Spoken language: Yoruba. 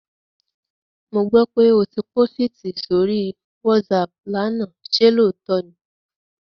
Mo gbó pé o pósìtì sórí WhatsApp lánàá, ṣe lóòótọ́ ni?